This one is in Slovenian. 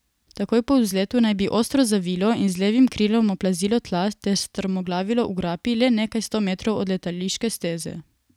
Takoj po vzletu naj bi ostro zavilo in z levim krilom oplazilo tla ter strmoglavilo v grapi, le nekaj sto metrov od letališke steze.